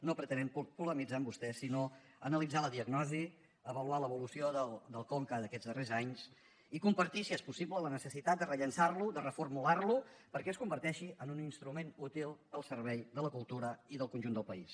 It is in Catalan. no pretenem polemitzar amb vostè sinó analitzar la diagnosi avaluar l’evolució del conca d’aquests darrers anys i compartir si és possible la necessitat de rellançar lo de reformular lo perquè es converteixi en un instrument útil al servei de la cultura i del conjunt del país